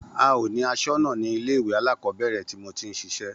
A ò ní asónà ní ilé ìwé alákòóbèrè tí mo ti n sisé